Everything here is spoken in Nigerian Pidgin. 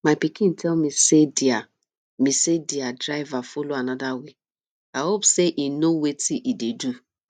my pikin tell me say their me say their driver follow another way i hope say he no wetin he dey do